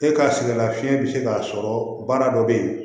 E ka sɛgɛn lafiɲɛ bi se k'a sɔrɔ baara dɔ be yen